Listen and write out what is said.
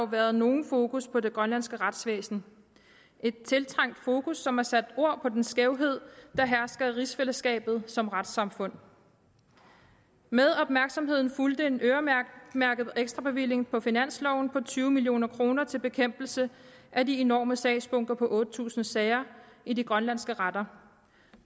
været nogen fokus på det grønlandske retsvæsen et tiltrængt fokus som har sat ord på den skævhed der hersker i rigsfællesskabet som retssamfund med opmærksomheden fulgte en øremærket ekstrabevilling på finansloven på tyve million kroner til bekæmpelse af de enorme sagsbunker på otte tusind sager i de grønlandske retter